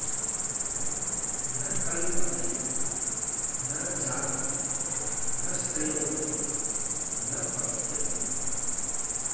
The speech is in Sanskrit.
न कल्पते न जाति न शृणोति न पश्यति